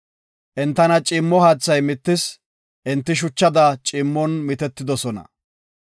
Entana ciimmo haathay mittis; enti shuchada ciimmon mitetidosona.